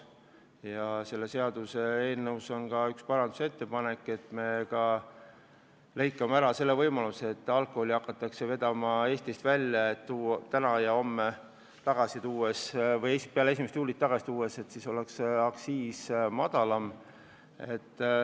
Ja selle seaduseelnõu kohta on ka üks parandusettepanek, et me lõikame ära võimaluse hakata alkoholi vedama Eestist välja, et see tagasi tuua peale 1. juulit, kui aktsiis on madalam.